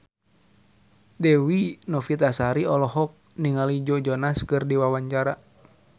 Dewi Novitasari olohok ningali Joe Jonas keur diwawancara